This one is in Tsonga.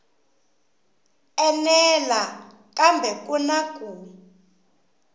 enela kambe ku na ku